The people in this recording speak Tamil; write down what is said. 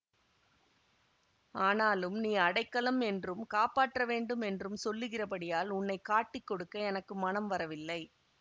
ஆனாலும் நீ அடைக்கலம் என்றும் காப்பாற்ற வேண்டும் என்றும் சொல்லுகிறபடியால் உன்னை காட்டிக் கொடுக்க எனக்கு மனம் வரவில்லை